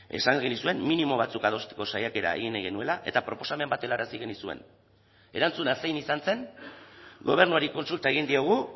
esan genizuen minimo batzuk adosteko saiakera egin nahi genuela eta proposamen bat helarazi genizuen erantzuna zein izan zen gobernuari kontsulta egin diogu